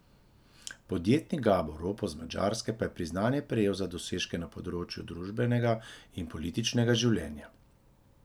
Podjetnik Gabor Ropos z Madžarske pa je priznanje prejel za dosežke na področju družbenega in političnega življenja.